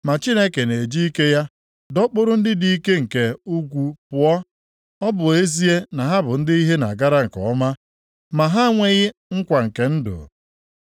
Ma Chineke na-eji ike ya dọkpụrụ ndị dị ike nke ukwuu pụọ, ọ bụ ezie na ha bụ ndị ihe na-agara nke ọma, ma ha enweghị nkwa nke ndụ.